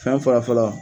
Fɛn fɔlɔ fɔlɔ